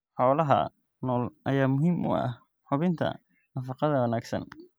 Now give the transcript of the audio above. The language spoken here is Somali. Xoolaha nool ayaa muhiim u ah hubinta nafaqada wanaagsan.